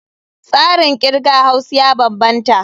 Tsarin kirga Haus ya bambanta.